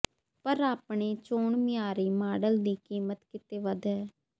ਪਰ ਆਪਣੇ ਚੋਣ ਮਿਆਰੀ ਮਾਡਲ ਦੀ ਕੀਮਤ ਕਿਤੇ ਵੱਧ ਹੈ